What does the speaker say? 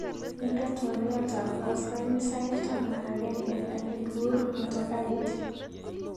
Inde twaliot ab koskoliny sait taman ak agenge akikur motokait.